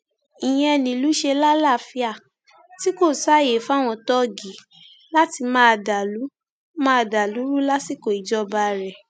ìyẹn nílùú ṣe lálàáfíà tí kò sáàyè fáwọn tóógi láti máa dàlú máa dàlú rú lásìkò ìjọba rẹ